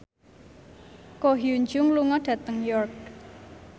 Ko Hyun Jung lunga dhateng York